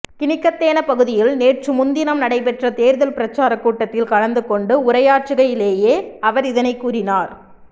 கினிகத்தேன பகுதியில் நேற்று முன்தினம் நடைபெற்ற தேர்தல் பிரச்சாரக் கூட்டத்தில் கலந்துகொண்டு உரையாற்றுகையிலேயே அவர் இதனை கூறினார்